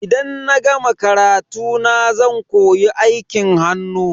Idan na gama karatuna zan koyi aikin hannu.